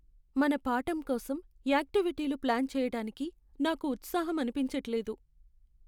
మన పాఠం కోసం యాక్టివిటీలు ప్లాన్ చెయ్యటానికి నాకు ఉత్సాహం అనిపించట్లేదు.